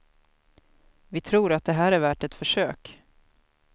Vi tror att det här är värt ett försök.